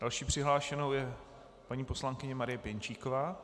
Další přihlášenou je paní poslankyně Marie Pěnčíková.